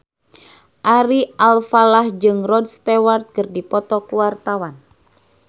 Ari Alfalah jeung Rod Stewart keur dipoto ku wartawan